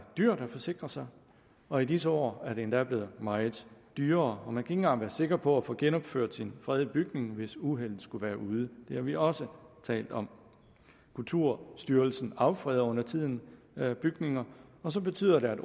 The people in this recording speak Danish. dyrt at forsikre sig og i disse år er det endda blevet meget dyrere og man kan ikke engang være sikker på at få genopført en fredet bygning hvis uheldet skulle være ude det har vi også talt om kulturstyrelsen affreder undertiden bygninger og så betyder det